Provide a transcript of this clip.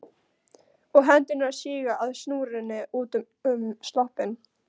Og hendurnar síga að snúrunni utan um sloppinn.